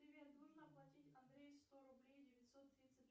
привет нужно оплатить андрею сто рублей девятьсот тридцать